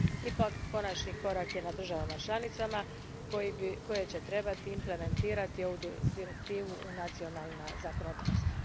Ipak, konačni korak je na državama članicama koje će trebati implementirati ovu direktivu u nacionalna zakonodavstva.